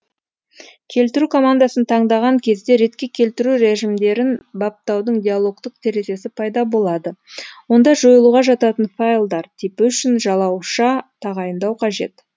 келтіру командасын таңдаған кезде ретке келтіру режімдерін баптаудың диалогтық терезесі пайда болады онда жойылуға жататын файлдар типі үшін жалауша тағайындау қажет